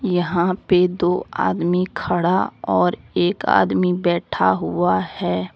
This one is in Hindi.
यहां पे दो आदमी खड़ा और एक आदमी बैठा हुआ है।